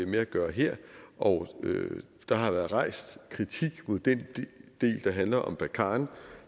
med at gøre her og der har været rejst kritik mod den del der handler om barkhane